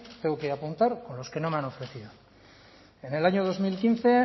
tengo que apuntar con los que no me han ofrecido en el año dos mil quince